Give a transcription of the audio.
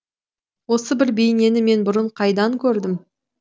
осы бір бейнені мен бұрын қайдан көрдім